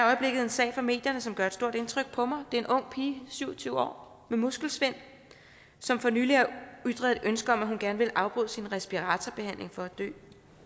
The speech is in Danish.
øjeblikket en sag fra medierne som gør et stort indtryk på mig det er en ung pige syv og tyve år med muskelsvind som for nylig har ytret ønske om at hun gerne ville afbryde sin respiratorbehandling for at dø